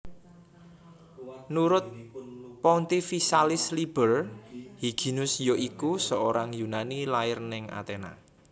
Nurut Pontificalis Liber Hyginus yoiku seorang Yunani lahir neng Athena